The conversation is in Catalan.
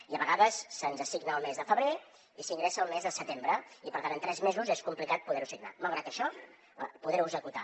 i a vegades se’ns assigna el mes de febrer i s’ingressa el mes de setembre i per tant en tres mesos és complicat poder ho assignar